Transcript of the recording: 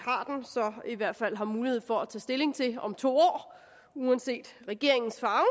i hvert fald har mulighed for at tage stilling til om to år uanset regeringens farve